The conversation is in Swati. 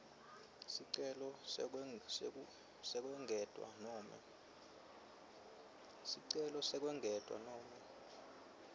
sicelo sekwengetwa nobe